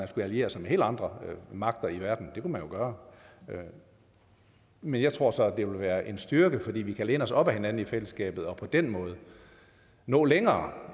skulle alliere sig med helt andre magter i verden det kunne man jo gøre men jeg tror så at det vil være en styrke at vi kan læne os op ad hinanden i fællesskabet og på den måde nå længere